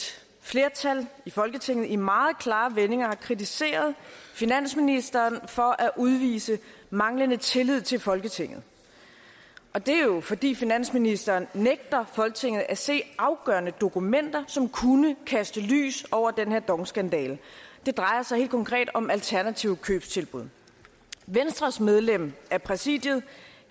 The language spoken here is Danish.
flertal i folketinget i meget klare vendinger har kritiseret finansministeren for at udvise manglende tillid til folketinget og det er jo fordi finansministeren nægter folketinget at se afgørende dokumenter som kunne kaste lys over den her dong skandale det drejer sig helt konkret om alternative købstilbud venstres medlem af præsidiet